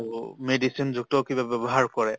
আৰু medicine যুক্ত কিবা ব্য়ৱহাৰ কৰে